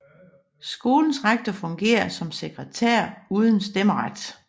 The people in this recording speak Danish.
Skolens rektor fungerer som sekretær uden stemmeret